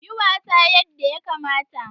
Yi wasa yadda yakamata!